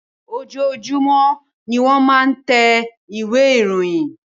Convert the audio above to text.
Ojoojumọ ní wọ́n máa ń tẹ ìwé ìròyìn.